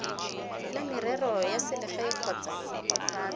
la merero ya selegae kgotsa